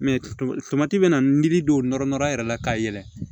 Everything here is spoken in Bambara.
bɛna miri don nɔr yɛrɛ la ka yɛlɛ